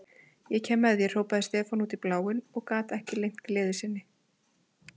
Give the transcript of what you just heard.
Ég kem með þér, hrópaði Stefán út í bátinn og gat ekki leynt gleði sinni.